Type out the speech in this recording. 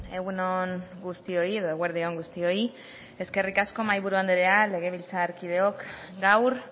egun on guztioi edo eguerdi on guztioi eskerrik asko mahaiburu anderea legebiltzarkideok gaur